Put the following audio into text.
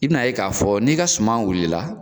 I bi na ye ka fɔ ni ka suma wulila